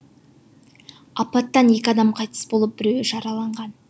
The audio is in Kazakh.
апаттан екі адам қайтыс болып біреуі жараланған